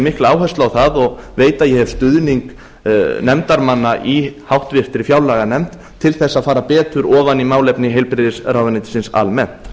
mikla áherslu á það og veit að ég hef stuðning nefndarmanna í háttvirtri fjárlaganefnd til þess að fara betur ofan í málefni heilbrigðisráðuneytisins almennt